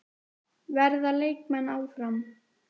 Verða leikmenn áfram?